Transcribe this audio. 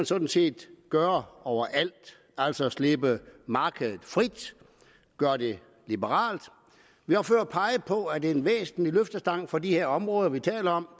sådan set gøre overalt altså slippe markedet fri og gøre det liberalt vi har før peget på at en væsentlig løftestang for de områder vi taler om